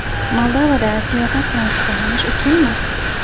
Moldovada siyosat bilan shug‘ullanish uchunmi?